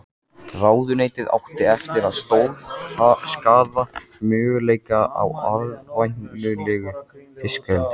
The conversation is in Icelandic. Ráðuneytið átti eftir að stórskaða möguleika á arðvænlegu fiskeldi.